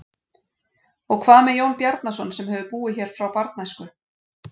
Og hvað með Jón Bjarnason sem hefur búið hér frá barnæsku?